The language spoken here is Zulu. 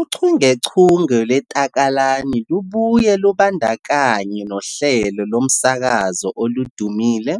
Uchungechunge lweTakalani lubuye lubandakanye nohlelo lomsakazo oludumile,